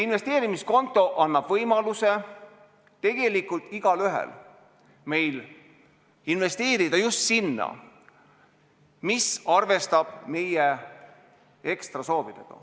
See konto annab võimaluse meil kõigil investeerida just sellesse, mis arvestaks meie soove.